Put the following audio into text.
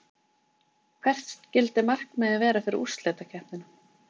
Hvert skyldi markmiðið vera fyrir úrslitakeppnina?